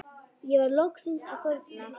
Ég var loksins að þorna